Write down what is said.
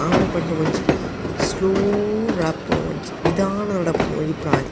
ಆಮೆ ಪಂಡ ಒಂಜಿ ಸ್ಲೋ ನಡಪುನ ಒಂಜಿ ನಿಧಾನ ನಡಪುನ ಒಂಜಿ ಪ್ರಾಣಿ.